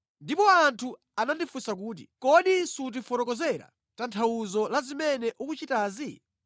Ndipo anthu anandifunsa kuti, “Kodi sutifotokozera tanthauzo la zimene ukuchitazi?”